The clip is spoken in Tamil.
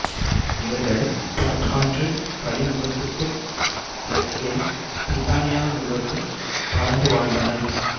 இவர்கள் பர்த் ஆற்றுக் கழிமுகத்துக்குத் தெற்கே பிரித்தானியா முழுவதும் பரந்து வாழ்ந்தனர்